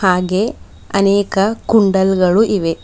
ಹಾಗೆ ಅನೇಕ ಕುಂಡಲ್ ಗಳು ಇವೆ.